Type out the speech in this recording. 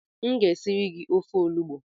M ga-esiri gi ofe olugbo